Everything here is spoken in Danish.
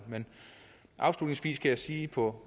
afslutningsvis kan jeg sige på